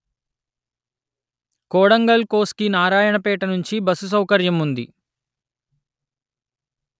కోడంగల్ కోస్గి నారాయణపేట నుంచి బస్సు సౌకర్యం ఉంది